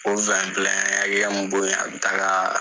O an ye hakɛya min bɔ yen a bɛ taga